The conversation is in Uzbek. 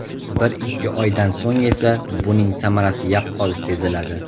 Bir-ikki oydan so‘ng esa, buning samarasi yaqqol seziladi.